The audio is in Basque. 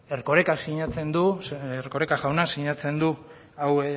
erkorekak sinatzen du zeren erkoreka jaunak sinatzen du hau